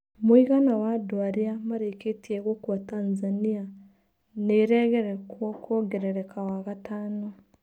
Mũigana wa andũarĩa marĩkĩtie gũkua Tanzania nĩ-ĩregokwo kwongerereka wagatano.